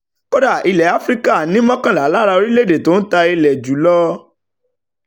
kódà ilẹ̀ áfíríkà ni mọ́kànlá lára ogún orílẹ̀-èdè tó ń ta ilẹ̀ wọn jù lọ.